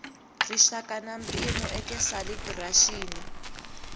rixaka na mpimo eka calibiraxini